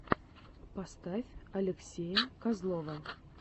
поставь алексея козлова